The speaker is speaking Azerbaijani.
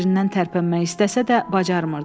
Yerindən tərpənmək istəsə də, bacarmırdı.